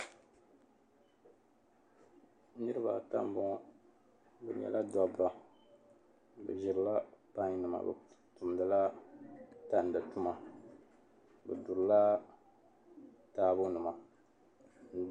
Niriba ata m-bɔŋɔ bɛ nyɛla dabba bɛ ʒirila pannima bɛ tumdila tandi tuma bɛ durila taabonima.